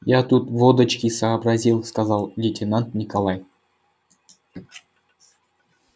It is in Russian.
я тут водочки сообразил сказал лейтенант николай